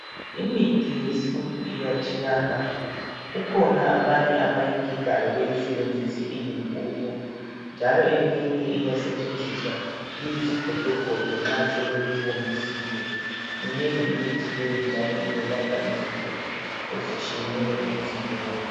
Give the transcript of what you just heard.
Imithi yesintu iyatshiyana. Kukhona abanye abayigigayo beyisebenzise iyimpuphu njalo eminye iyasetshenziswa iyizigodogodo nxa sebeyiwomisile. Minengi imithi leyi njalo iyelapha izinto ezitshiyeneyo emzimbeni.